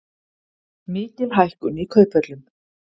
Mikil hækkun í kauphöllum